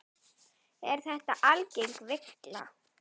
Er þetta algeng villa.